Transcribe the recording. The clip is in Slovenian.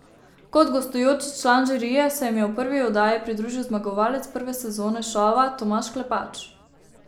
Kot gostujoči član žirije se jim je v prvi oddaji pridružil zmagovalec prve sezone šova Tomaž Klepač.